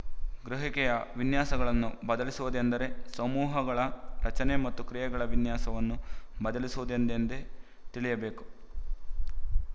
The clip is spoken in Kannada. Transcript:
ಗ್ರಹಿಕೆಯ ವಿನ್ಯಾಸಗಳನ್ನು ಬದಲಿಸುವುದೆಂದರೆ ಸಮೂಹಗಳ ರಚನೆ ಮತ್ತು ಕ್ರಿಯೆಗಳ ವಿನ್ಯಾಸವನ್ನು ಬದಲಿಸುವುದೆಂದೇ ತಿಳಿಯಬೇಕು